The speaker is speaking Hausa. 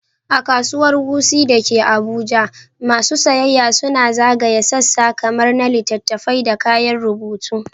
A Kasuwar Wuse da ke Abuja, masu sayayya suna zagaya sassa kamar na littattafai da kayan rubutu.